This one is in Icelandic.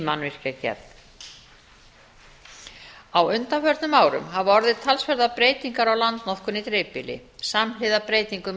mannvirkjagerð á undanförnum árum hafa orðið talsverðar breytingar á landnotkun í dreifbýli samhliða breytingum í